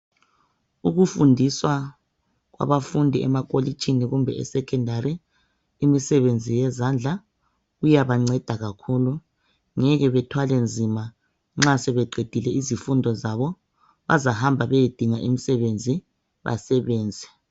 Ukufundiswa kwabafundi emakholitshini kumbe esecondary imisebenzi yezandla iyabancedisa kakhulu ngeke bethwale nzima nxa sebeqedile izifundo zabo bazahamba beyedinga imisebenzi basebenze.